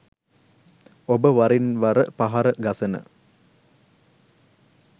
ඔබ වරින් වර පහර ගසන